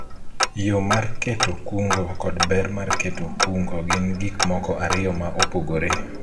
yo mar keto kungo kod ber mar keto kungo gin gik moko ariyo ma opogore